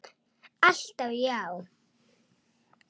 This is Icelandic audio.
Alltaf já.